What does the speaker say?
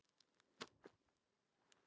Mamma mér er kalt!